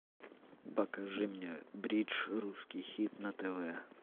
покажи мне бридж русский хит на тв